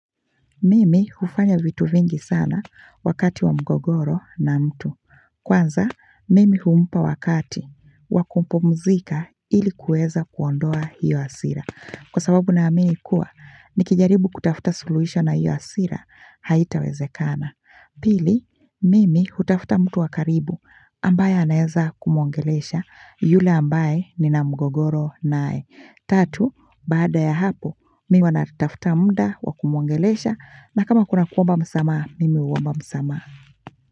Mimi hufanya vitu vingi sana wakati wa mgogoro na mtu. Kwanza, Mimi humpa wakati wa kupumzika ili kuweza kuondoa hiyo hasira. Kwa sababu naamini kuwa, nikijaribu kutafta suluhisho na hiyo hasira, haitawezekana. Pili, Mimi hutafta mtu wa karibu ambaye anaeza kumuongelesha yule ambaye nina mgogoro naye. Tatu, baada ya hapo, mi huwa natafta mda wa kumuongelesha na kama kuna kuomba msamaha, mimi huomba msamaha.